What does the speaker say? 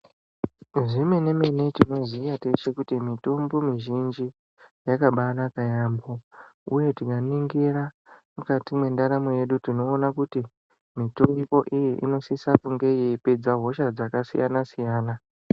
Zvemene-mene tinoziya teshe kuti mitombo mizhinji, yakabanaka yaampho, uye tikaningira mukati mwendaramo yedu tinoona kuti mitombo iyi inosisa kunge yeipedza hosha dzakasiyana-siyana.